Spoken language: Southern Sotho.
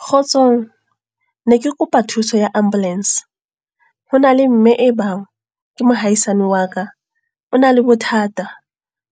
Kgotsong. Ne ke kopa thuso ya ambulance. Ho na le mme e bang, ke mohaisane wa ka. O na le bothata,